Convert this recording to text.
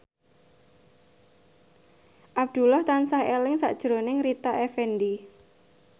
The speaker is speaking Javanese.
Abdullah tansah eling sakjroning Rita Effendy